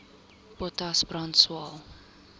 potas brand swael